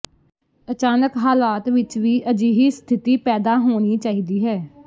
ਅਚਾਨਕ ਹਾਲਾਤ ਵਿਚ ਵੀ ਅਜਿਹੀ ਸਥਿਤੀ ਪੈਦਾ ਹੋਣੀ ਚਾਹੀਦੀ ਹੈ